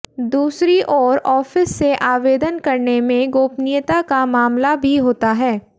दूसरी ओर ऑफिस से आवेदन करने में गोपनीयता का मामला भी होता है